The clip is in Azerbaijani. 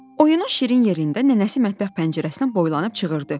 Oyunun şirin yerində nənəsi mətbəx pəncərəsindən boylanıb çığırdı: